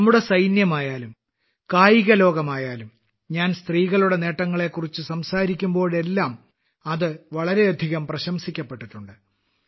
നമ്മുടെ സൈന്യമായാലും കായികലോകമായാലും ഞാൻ സ്ത്രീകളുടെ നേട്ടങ്ങളെക്കുറിച്ച് സംസാരിക്കുമ്പോഴെല്ലാം അത് വളരെയധികം പ്രശംസിക്കപ്പെട്ടിട്ടുണ്ട്